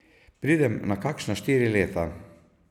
Pridem na kakšna štiri leta.